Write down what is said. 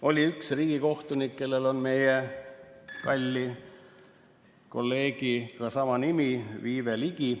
Oli üks riigikohtunik, kellel on meie kalli kolleegiga sama nimi, Viive Ligi.